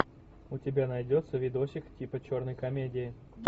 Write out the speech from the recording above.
у тебя найдется видосик типа черной комедии